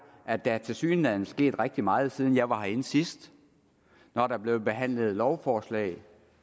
at der tilsyneladende er sket rigtig meget siden jeg var herinde sidst når der blev behandlet lovforslag